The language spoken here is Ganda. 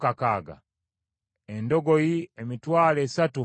Endogoyi, emitwalo esatu mu bitaano (30,500);